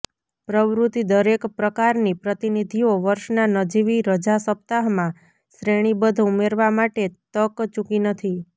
પ્રવૃત્તિ દરેક પ્રકારની પ્રતિનિધિઓ વર્ષના નજીવી રજા સપ્તાહમાં શ્રેણીબદ્ધ ઉમેરવા માટે તક ચૂકી નથી